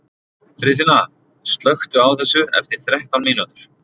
Friðfinna, slökktu á þessu eftir þrettán mínútur.